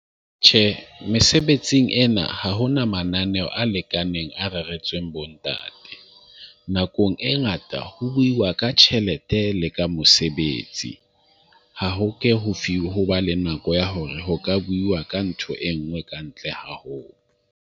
Tjhe, mesebetsing ena ha hona mananeo a lekaneng a reretsweng bontate. Nakong e ngata ho buuwa ka tjhelete le ka mosebetsi. Ha ho ke ho ho ba le nako ya hore ho ka bua ka ntho e nngwe ka ntle haholo.